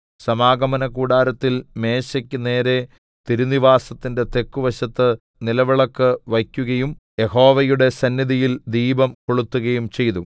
സമാഗമനകൂടാരത്തിൽ മേശയ്ക്ക് നേരെ തിരുനിവാസത്തിന്റെ തെക്കുവശത്ത് നിലവിളക്ക് വയ്ക്കുകയും യഹോവയുടെ സന്നിധിയിൽ ദീപം കൊളുത്തുകയും ചെയ്തു